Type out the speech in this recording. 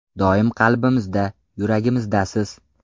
Doim qalbimizda, yuragimizdasiz!